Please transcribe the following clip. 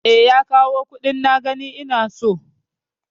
E, ya kawo kuɗin na gani ina so.